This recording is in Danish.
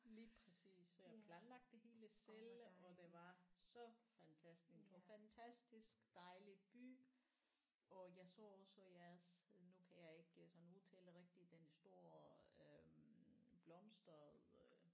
Lige præcis så jeg havde planlagt det hele selv og det var så fantastisk det var fantastisk dejlig by og jeg så også jeres nu kan jeg ikke sådan udtale det rigtigt den store øh blomster øh